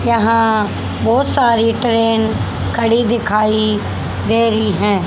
यहां बहोत सारी ट्रेन खड़ी दिखाई दे रही है।